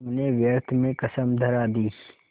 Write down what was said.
तुमने व्यर्थ में कसम धरा दी